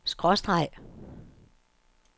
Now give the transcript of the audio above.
skråstreg